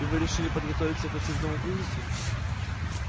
и вы решили подготовиться к очередному кризису